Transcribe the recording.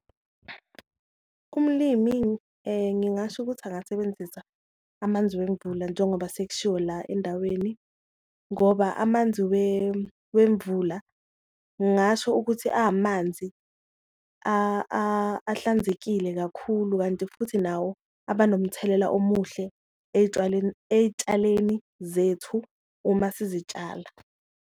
Umlimi ngingasho ukuthi angasebenzisa amanzi wemvula njengoba sekushiwo la endaweni ngoba amanzi wemvula, ngasho ukuthi amanzi ahlanzekile kakhulu kanti futhi nawo aba nomthelela omuhle ey'tshaleni zethu uma sizitshala.